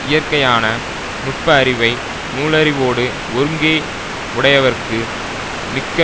இயற்கையான நுட்ப அறிவை நூலறிவோடு ஒருங்கே உடையவருக்கு மிக்க